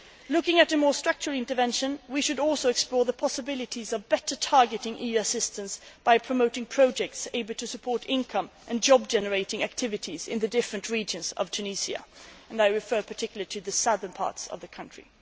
Looking at a more structured intervention, we should also explore the possibilities of better targeting EU assistance by promoting projects that are able to support income and job generating activities in the different regions of Tunisia, and I refer particularly to the southern parts of the country.